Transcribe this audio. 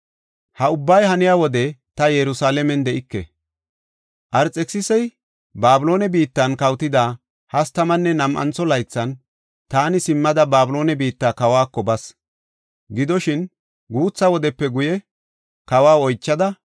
Ha ubbay haniya wode ta Yerusalaamen de7ike. Arxekisisey Babiloone biittan kawotida hastamanne nam7antho laythan taani simmada Babiloone biitta kawako bas. Gidoshin, guutha wodepe guye kawa oychada,